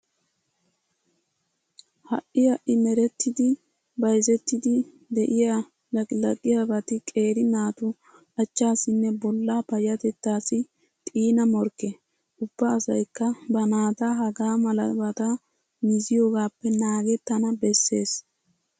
Ha"i ha"i merettidi bayzettiiddi de'iya laqilaqiyabati qeeri naatu achchaassinne bollaa payyatettaassi xiina morkke. Ubba asaykka ba naata hagaa malabata miziyogaappe naagettana bessees.